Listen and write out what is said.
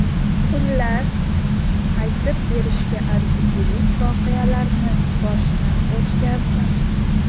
Xullas, aytib berishga arzigulik voqealarni boshdan o‘tkazdim.